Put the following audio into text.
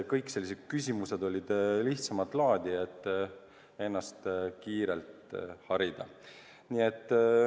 Kõik need küsimused olid lihtsamat laadi, et ennast kiirelt harida.